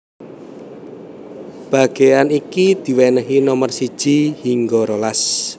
Bagéan iki diwènèhi nomer siji hingga rolas